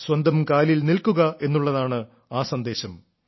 സ്വന്തം കാലിൽ നിൽക്കുക എന്നുള്ളതാണ് ആ സന്ദേശം